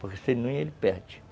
Porque se não ia, ele perde.